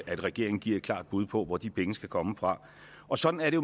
at regeringen giver et klart bud på hvor de penge skal komme fra og sådan er det